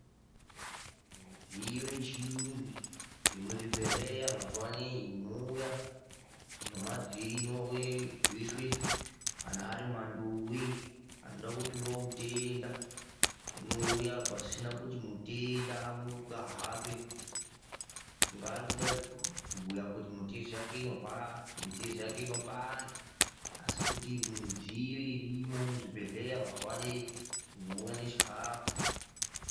Midziyo yechirungu yemuzvibhedhlera mazuva anawa inouya nemavhiri inouya yoiswa manduwi anoda kupiwe mutenda unouya pasina kuti mutenda amuruke ahambe kuda arikuda kubhuya kuti mitezo yake inopanda asi kuti midziyo irimo muzvibhedhlera mazuva anawa inouya nechikafu.